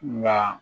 Ɲa